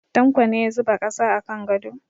Tanko ne ya zuba ƙasa a kan gado.